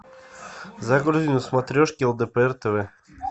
загрузи на смотрешке лдпр тв